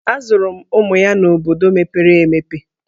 A zụrụ ụmụ ya n'obodo mepere emepe.